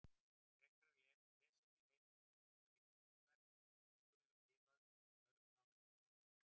Frekara lesefni, heimildir og mynd á Vísindavefnum: Geta lífverur lifað á öðrum plánetum án vatns?